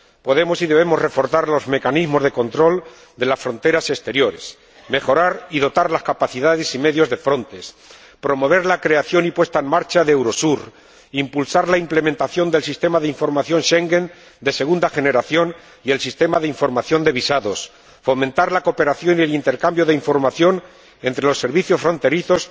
Podemos y debemos reforzar los mecanismos de control de las fronteras exteriores, mejorar y dotar las capacidades y medios de Frontex, promover la creación y puesta en marcha de Eurosur, impulsar la implementación del Sistema de Información Schengen de segunda generación y del Sistema de Información de Visados, fomentar la cooperación y el intercambio de información entre los servicios fronterizos,